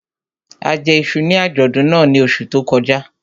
A jẹ iṣu ní àjọ̀dún náà ní oṣù tó kọjá